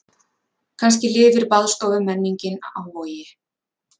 Kannski lifir baðstofumenningin á Vogi.